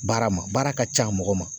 Baara ma baara ka ca mɔgɔ ma.